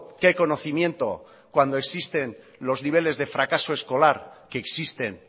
qué conocimiento cuando existen los niveles de fracaso escolar que existen